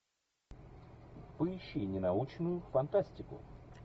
поищи ненаучную фантастику